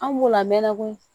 An b'o lamɛn koyi